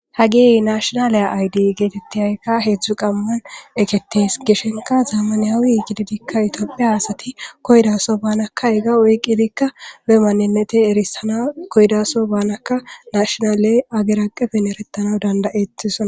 Haggeyi nashshinale ayidda gettetiza hedzdzu qamnan ekketies gishshinkka zammanawe giddidikka etophphiya asati koyidda soho bannaka hegga oyiqqidi be maninette erissana koyiddaso bannakka naeshshinale haggeri aqqeffen erettanaw danddaettossona.